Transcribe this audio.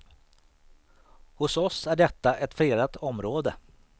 Hos oss är detta ett fredat område.